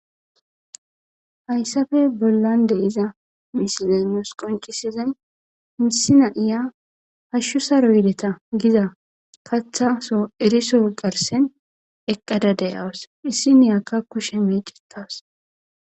Hayssafe bollan de iza misidanos qoncisezay misina iya hashshu saroyideta giza kathaso eriso garsen eqqada deyawas issi niyakka kushe miicitas..